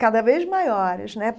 cada vez maiores né.